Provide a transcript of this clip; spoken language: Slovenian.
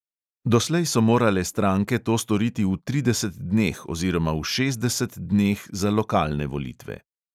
Doslej so morale stranke to storiti v trideset dneh oziroma v šestdeset dneh za lokalne volitve.